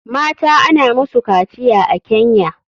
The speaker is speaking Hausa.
Mata ana musu kaciya a kenya